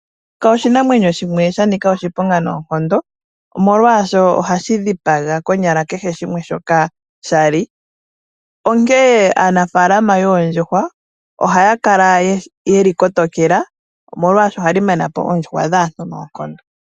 Eyoka oshinamwenyo shimwe sha nika oshiponga noonkondo, molwashoka ohashi dhipaga konyala kehe shimwe shoka sha li, onkene aanaafalama yoondjuhwa ohaya kala ye li kotokela, molwashoka ohali mana po oondjuhwa dhaantu noonkondo.